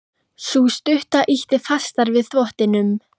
Sú stutta ýtti fastar við þvottinum.